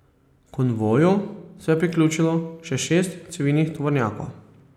Konvoju se je priključilo še šest civilnih tovornjakov.